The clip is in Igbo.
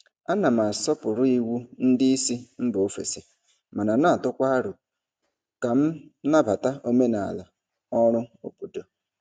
Ana m asọpụrụ iwu ndị isi mba ofesi mana na-atụkwa aro ka m nabata omenala ọrụ obodo.